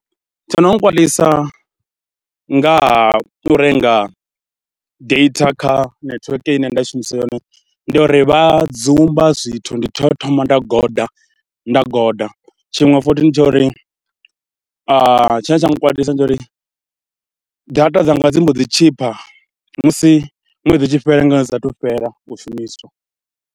Tsho no nkwalisa nga ha u renga data kha netiweke ine nda shumisa yone, ndi ya uri vha dzumba zwithu ndi tea u thoma nda goda, nda goda. Tshiṅwe futhi ndi tsha uri, tshine tsha nga nkwatisa ndi tsha uri data dzanga dzi mbo ḓi tshipha musi ṅwedzi u tshi fhela ngeno dzi saathu fhela u shumiswa.